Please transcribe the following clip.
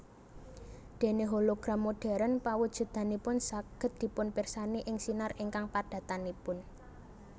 Déné hologram modern pawujudanipun saged dipunpirsani ing sinar ingkang padatanipun